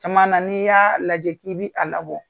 Caman na n'i y'a lajɛ k'i bi a labɔ